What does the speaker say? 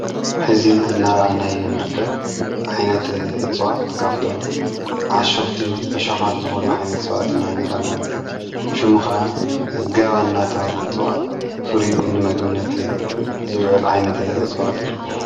ሕዚ እናርኣናዩ ንድርከብ ዓይነት እፅዋት ካፍቶም ዓሾኽቲ ዕሸኻት ዝኾኑ ዓይነት ጽዋት ና እነርኣና ንርከብ ።ሹሙ ኸዓ ጋባናታሃል እጥዋእ ፍርዩ ንመግነት ዝውዕል ዓይነት እፅዋትኢ እዩ።